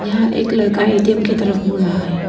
यह एक लड़का ए_टी_एम की तरफ मुड़ रहा है।